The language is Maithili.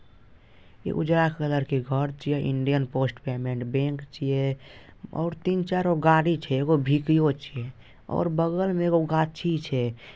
ये उजला कलर के घर छिये इंडियन पोस्ट पेमेंट बैंक छीये और तीन-चार गो गाड़ी छै एगो भी_भी_ओ छै और बगल में एगो गाछी छै।